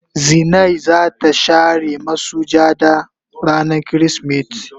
Zinai za ta share masujada rana kirisimeti.